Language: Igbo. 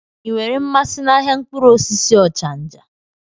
Ị nwere mmasị n'ahịa mkpụrụ osisi Ochanja?